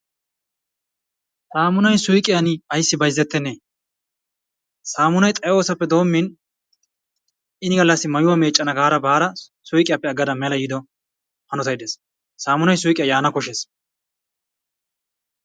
Sammunay suyqqiyan ayssi bayzzettenne sammunay xayoossappe doommin ini gallassi mayuwa meccana gaara baara suqqiyappe aggadda mela yiiddo hanottay dees sammunay suuqqiya yaana koshshees.